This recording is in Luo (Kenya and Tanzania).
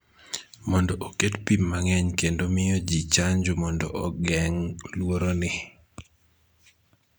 mondo oket pim mang�eny kendo miyo ji chanjo mondo ogeng� luoroni.